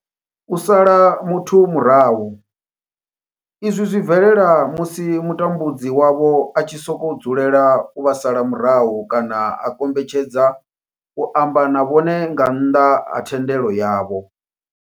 U sala muthu murahu izwi zwi bvelela musi mutambudzi wavho a tshi sokou dzulela u vha sala murahu kana a kombetshedza u amba na vhone nga nnḓa ha thendelo yavho.